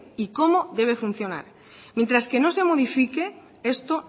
y cómo debe funcionar mientras que no se modifique esto